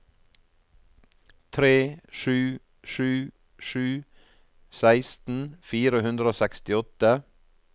tre sju sju sju seksten fire hundre og sekstiåtte